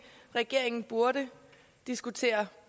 regeringen burde diskutere